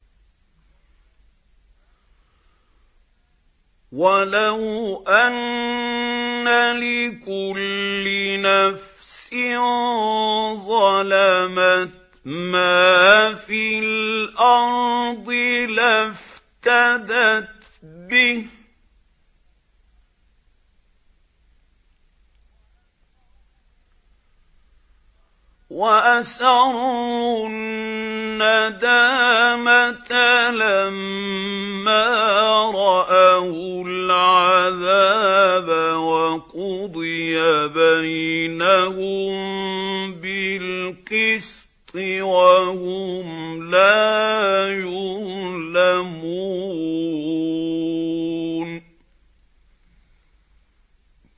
وَلَوْ أَنَّ لِكُلِّ نَفْسٍ ظَلَمَتْ مَا فِي الْأَرْضِ لَافْتَدَتْ بِهِ ۗ وَأَسَرُّوا النَّدَامَةَ لَمَّا رَأَوُا الْعَذَابَ ۖ وَقُضِيَ بَيْنَهُم بِالْقِسْطِ ۚ وَهُمْ لَا يُظْلَمُونَ